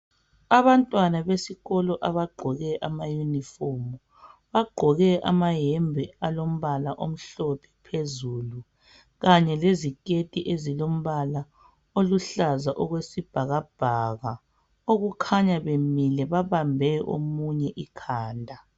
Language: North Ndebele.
Abantwana besikolo abagqoke amayunifomu, bagqoke amayembe alombala omhlophe phezulu kanye leziketi ezilombala oluhlaza okwesibhakabhaka okukhanya bemile babambe omunye ikhanda.